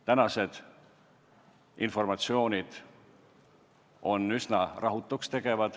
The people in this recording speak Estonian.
Tänane informatsioon on üsna rahutuks tegev.